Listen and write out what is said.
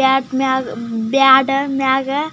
bag ಮ್ಯಾಗ bag ಮ್ಯಾಗ --